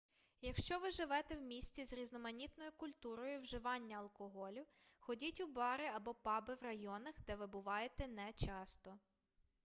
якщо ви живете в місті з різноманітною культурою вживання алкоголю ходіть у бари або паби в районах де ви буваєте не часто